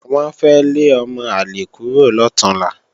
Wọ́n fẹ́ lé ọmọ àlè kúrò lọ̀túnla